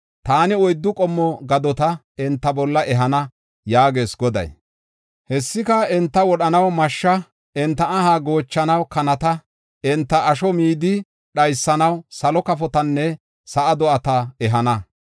“Taani oyddu qommo gadota enta bolla ehana yaagees Goday. Hessika, enta wodhanaw mashsha, enta aha goochanaw kanata, enta asho midi dhaysanaw salo kafotanne sa7a do7ata ehana.